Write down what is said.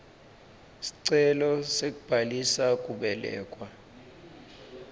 sicelo sekubhalisa kubelekwa